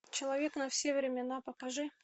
человек на все времена покажи